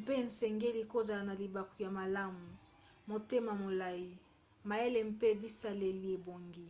mpe esengeli kozala na libaku ya malamu motema molai mayele mpe bisaleli ebongi